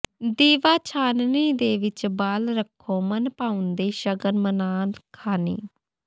ਦੀਵਾ ਛਾਨਣੀ ਦੇ ਵਿੱਚ ਬਾਲ ਰੱਖੋ ਮਨ ਭਾਉਂਦੇ ਸਗਨ ਮਨਾ ਖਾਂ ਨੀ